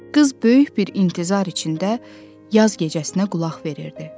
Qız böyük bir intizar içində yaz gecəsinə qulaq verirdi.